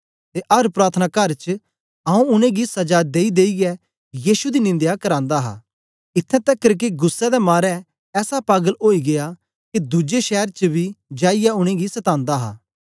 ते अर प्रार्थनाकार च आंऊँ उनेंगी सजा देईदेईयै यीशु दी निंदया करांदा हा इत्थैं तकर के गुस्सै दे मारे ऐसा पागल ओई गीया के दुज्जे शैर च बी जाईयै उनेंगी सतांदा हा